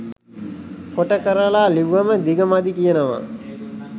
කොට කරල ලිව්වම දිග මදි කියනවා.